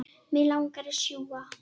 Mig langar að sjúga.